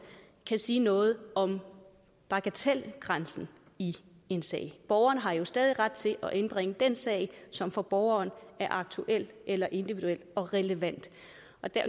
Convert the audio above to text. kan sige noget om bagatelgrænsen i en sag borgeren har jo stadig ret til at indbringe den sag som for borgeren er aktuel eller individuel og relevant